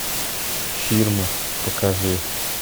фирма покажи